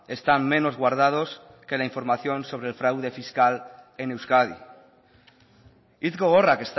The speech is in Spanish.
están menos guardados que la información sobre el fraude fiscal en euskadi hitz gogorrak